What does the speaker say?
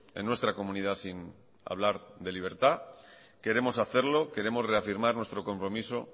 en nuestra comunidad sin hablar de libertad queremos hacerlo queremos reafirmar nuestro compromiso